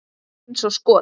Eins og skot!